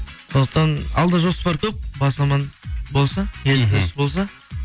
сондықтан алда жоспар көп бас аман болса